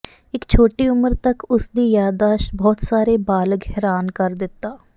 ਇੱਕ ਛੋਟੀ ਉਮਰ ਤੱਕ ਉਸ ਦੀ ਯਾਦਾਸ਼ਤ ਬਹੁਤ ਸਾਰੇ ਬਾਲਗ ਹੈਰਾਨ ਕਰ ਦਿੱਤਾ